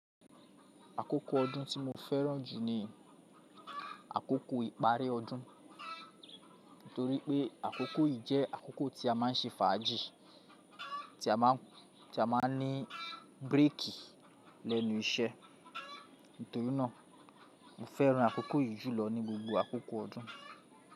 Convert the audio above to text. Àkókò ọdún tí mo fẹ́ràn jù ni àkókò ìparí ọdún. Nítorí pé àkókò yìí jẹ́ àkókò tí a má ń ṣe fàájì, tí a máa ní bírèèkì lẹ́nu iṣẹ́. Nítorínà mo fẹ́ràn àkókò yìí jùlọ ní gbogbo àkókò ọdún.